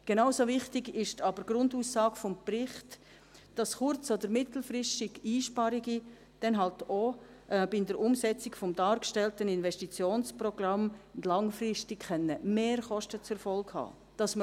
Genauso wichtig ist aber die Grundaussage des Berichts, dass kurz- oder mittelfristig Einsparungen dann halt auch bei der Umsetzung des dargestellten Investitionsprogramms langfristig Mehrkosten zur Folge haben können;